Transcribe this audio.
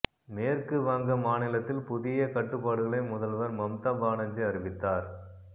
மேற்கு வங்க மாநிலத்தில் புதிய கட்டுப்பாடுகளை முதல்வர் மம்தா பானர்ஜி அறிவித்தார்